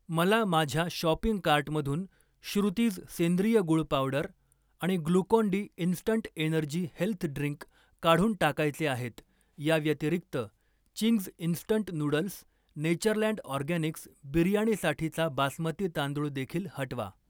मला माझ्या शॉपिंग कार्टमधून श्रुतीज सेंद्रिय गूळ पावडर आणि Glucon D instant energy health drink काढून टाकायचे आहेत. या व्यतिरिक्त, Ching's instant noodles, Natureland Organics बिर्याणीसाठीचा बासमती तांदूळ देखील हटवा.